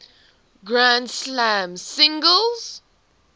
grand slam singles